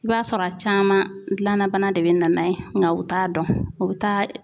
I b'a sɔrɔ a caman gilanna bana de bɛ na n'a ye nka u t'a dɔn u bɛ taa